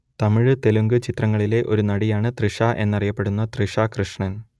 തമിഴ് തെലുങ്ക് ചിത്രങ്ങളിലെ ഒരു നടിയാണ് തൃഷ എന്നറിയപ്പെടുന്ന തൃഷ കൃഷ്ണൻ